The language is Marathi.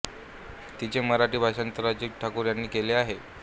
तिचे मराठी भाषांतर अजित ठाकूर यांनी केले आहे